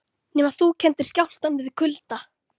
Nema þú kenndir skjálftann við kulda.